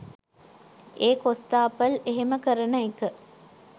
ඒ කොස්තාපල් එහෙම කරන එක